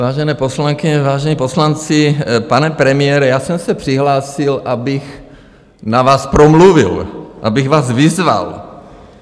Vážené poslankyně, vážení poslanci, pane premiére, já jsem se přihlásil, abych na vás promluvil, abych vás vyzval.